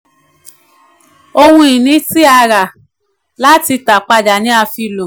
àpẹẹrẹ: owó àlàfo ilé ìfowópamọ́ àkọọ́lẹ̀ tí a gbà.